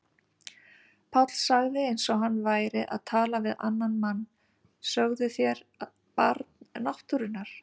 Páll sagði eins og hann væri að tala við annan mann: Sögðuð þér Barn náttúrunnar?